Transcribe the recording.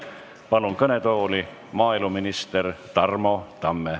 Palun kõnetooli maaeluminister Tarmo Tamme.